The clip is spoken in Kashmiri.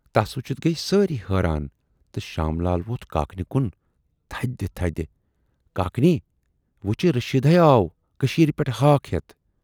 تس وُچھِتھ گٔیہِ سٲری حٲران تہٕ شام لال ووتھ کاکنہِ کُن تھدِ تھدِ"کاکنی! وُچھِی رشیٖد ہاے آو کٔشیٖرِ پٮ۪ٹھٕ ہاکھ ہٮ۪تھ۔